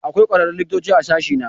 Akwai kwararrun likitoci guda biyu a sashena.